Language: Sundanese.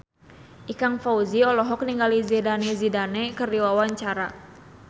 Ikang Fawzi olohok ningali Zidane Zidane keur diwawancara